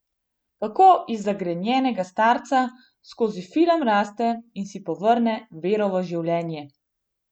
Kako iz zagrenjenega starca skozi film zraste in si povrne vero v življenje.